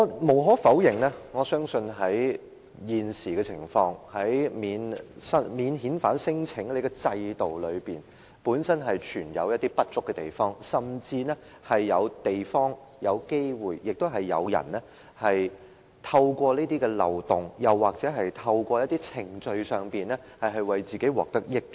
無可否認，我相信現時的情況，免遣返聲請的制度本身存有一些不足之處，甚至是有地方或有機會被人透過這些漏洞，又或是透過一些程序而令自己獲得益處。